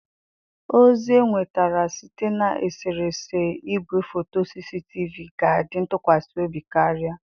Ozi enwetara site na eserese igwefoto CCTV ga-adi ntụkwasị obi karịa.